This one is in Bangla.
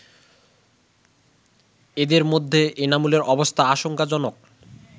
এদের মধ্যে এনামুলের অবস্থা আশঙ্কাজনক